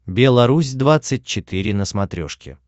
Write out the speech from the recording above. белорусь двадцать четыре на смотрешке